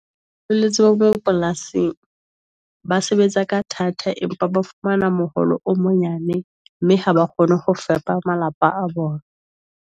Boletse bo mo polasing . Ba sebetsa ka thata empa ba fumana moholo o monyane mme ha ba kgone ho fepa malapa a bona.